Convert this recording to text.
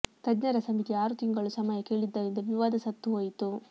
ತಜ್ಞರ ಸಮಿತಿ ಆರು ತಿಂಗಳು ಸಮಯ ಕೇಳಿದ್ದರಿಂದ ವಿವಾದ ಸತ್ತು ಹೋಯಿತು